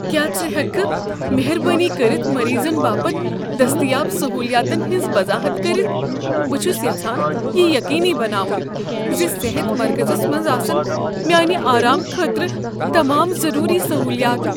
کیا ژٕ ہیکٕکھٕ مہربٲنی کٔرتھ مریضن باپت دستیاب سہولیاتن ہٕنٛز وضاحت کٔرتھ؟ بہٕ چھس یژھان یہ یقینی بناون ز صحت مرکزس منٛز آسن میانہ آرام خٲطرٕ تمام ضروری سہولیات۔